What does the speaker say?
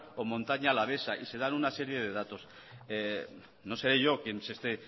o montaña alavesa y se dan una serie de datos no seré yo quien se esté